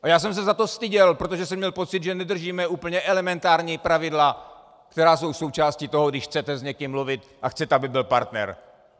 A já jsem se za to styděl, protože jsem měl pocit, že nedržíme úplně elementární pravidla, která jsou součástí toho, když chcete s někým mluvit a chcete, aby byl partner.